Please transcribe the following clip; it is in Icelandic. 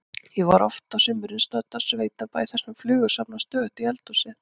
Ég er oft á sumrin stödd á sveitabæ þar sem flugur safnast stöðugt í eldhúsið.